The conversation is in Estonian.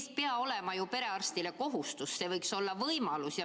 See ei pea olema ju perearstile kohustus, see võiks olla võimalus.